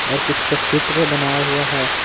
और कुछ का चित्र बनाया हुआ है।